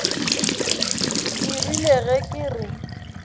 ke rile ge ke re